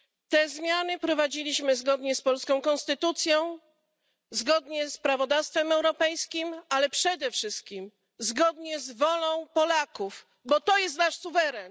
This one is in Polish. Te zmiany wprowadziliśmy zgodnie z polską konstytucją, zgodnie z prawodawstwem europejskim, ale przede wszystkim zgodnie z wolą Polaków, bo to jest nasz suweren.